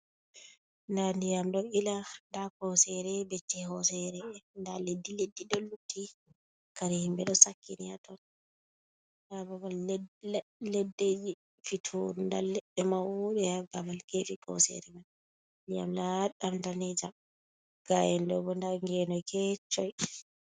Nda ndiyam ɗo Ila, nda hosere, becce hosere nda leddi-leddi ɗo lutti, kare himɓe ɗo sakkini haton. Nda babal leɗɗeji fitur, nda leɗɗe mauɗe ha babal gefe kosere man. Ndiyam laɗɗam danejam, ga'en ɗobo, nda gene keccum.